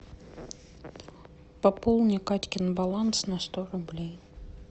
пополни катькин баланс на сто рублей